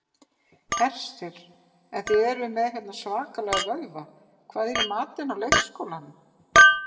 Hersir: En þið eruð með hérna svakalega vöðva, hvað er í matinn á leikskólanum?